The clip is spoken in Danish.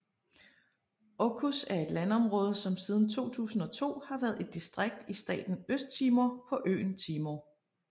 Oecusse er et landområde som siden 2002 har været et distrikt i staten Østtimor på øen Timor